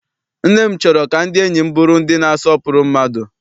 Nne m chọrọ ka ndị enyi m bụrụ ndị na-asọpụrụ mmadụ.